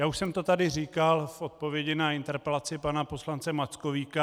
Já už jsem to tady říkal v odpovědi na interpelaci pana poslance Mackovíka.